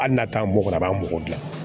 Hali n'a t'an mɔgɔkɔrɔbaw dilan